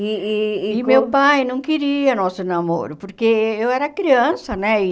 E e e meu pai não queria nosso namoro, porque eu era criança, né? E